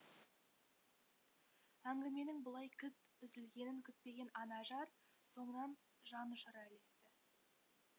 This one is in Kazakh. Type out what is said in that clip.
әңгіменің бұлай кілт үзілгенін күтпеген анажар соңынан жанұшыра ілесті